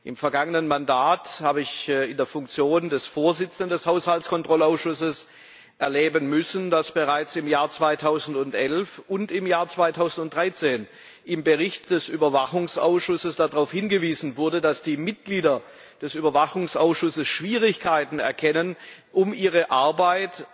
Im vergangenen Mandat habe ich in der Funktion des Vorsitzenden des Haushaltskontrollausschusses erleben müssen, dass bereits im Jahr2011 und im Jahr 2013 im Bericht des Überwachungsausschusses darauf hingewiesen wurde, dass die Mitglieder des Überwachungsausschusses Schwierigkeiten dabei erkennen, ihre Arbeit